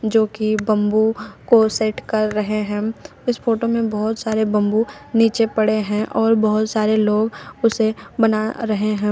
जो कि बंबू को सेट कर रहे है इस फोटो में बहोत सारे बंबू निचे पड़े है और बहोत सारे लोग उसे बना रहे है।